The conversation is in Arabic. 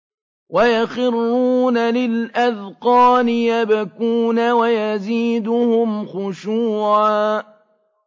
وَيَخِرُّونَ لِلْأَذْقَانِ يَبْكُونَ وَيَزِيدُهُمْ خُشُوعًا ۩